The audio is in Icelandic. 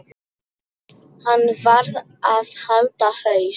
Hann varð að halda haus.